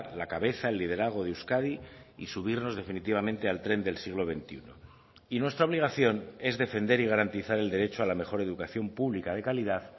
la cabeza el liderazgo de euskadi y subirnos definitivamente al tren del siglo veintiuno y nuestra obligación es defender y garantizar el derecho a la mejor educación pública de calidad